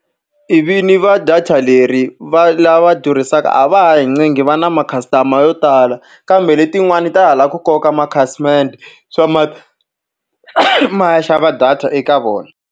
E vin'yi va data leri va lava durhisaka a va ha hi ncengi va na ma-customer yo tala. Kambe letin'wana ta ha lava ku koka makhasimende ma ya xava data eka vona.